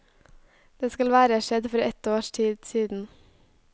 Det skal være skjedd for et års tid siden.